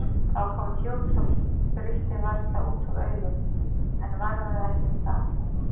Það var komið fjúk svo grillti varla út úr augum, en varðaði ekki um það.